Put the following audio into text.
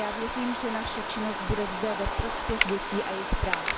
Já věřím, že naše činnost bude zde ve prospěch dětí a jejich práv.